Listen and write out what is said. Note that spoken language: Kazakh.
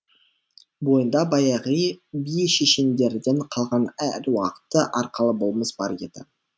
бойында би шешендерден қалған әруақты арқалы болмыс бар еді